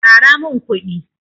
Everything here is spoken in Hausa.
Ƙara min kuɗi.